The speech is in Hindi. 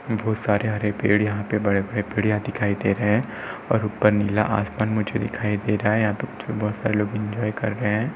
बहोत सारे हरे पेड़ यहाँ पे बड़े-बड़े पेड़ यहाँ दिखाई दे रहे हैं और ऊपर नीला आसमान मुझे दिखाई दे रहा है। यहाँ पर कुछ बहोत सारे लोग एन्जॉय कर रहे हैं।